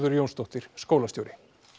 Jónsdóttir skólastjóri